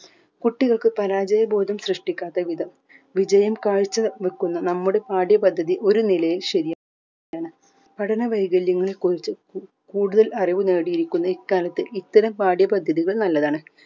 കുട്ടികൾക്ക് പരാജയബോധം സൃഷ്ടിക്കാതെ വിധം വിജയം കാഴ്ച വെക്കുന്ന നമ്മുടെ പാഠ്യ പദ്ധതി ഒരു നിലയിൽ ശരിയാണ് പഠന വൈകല്യങ്ങളെ കുറിച്ച് കു കൂടുതൽ അറിവു നേടിയിരിക്കുന്ന ഇക്കാലത്തെ ഇത്തരം പാഠ്യ പദ്ധതികൾ നല്ലതാണ്